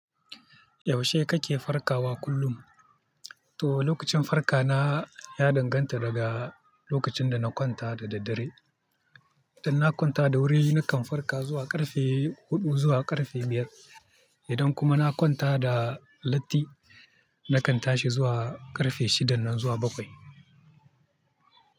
Yaushe kake farkawa kullum? To, lokacin farka na ya danganta daga lokacin da na kwanta da daddare. Idan na kwanta da wuri, nakan farka zuwa ƙarfe huɗu zuwa ƙarfe biyar. Idan kuma na kwanta da latti, nakan tashi zuwa ƙarfe shida nan zuwa bakwai.